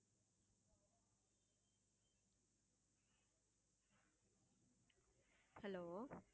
hello